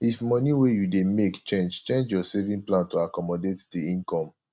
if di money wey you dey make change change your saving plan to accomodate di income